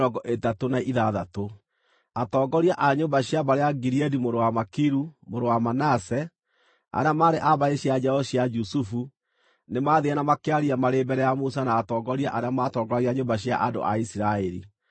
Atongoria a nyũmba cia mbarĩ ya Gileadi mũrũ wa Makiru, mũrũ wa Manase, arĩa maarĩ a mbarĩ cia njiaro cia Jusufu, nĩmathiire na makĩaria marĩ mbere ya Musa na atongoria arĩa matongoragia nyũmba cia andũ a Isiraeli.